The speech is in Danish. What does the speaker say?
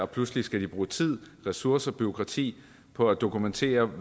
pludselig skal bruge tid ressourcer og bureaukrati på at dokumentere